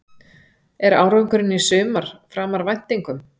Er árangurinn í sumar framar væntingum?